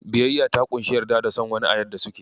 Biyayya ta ƙunshi yarda da son wani a yadda suke.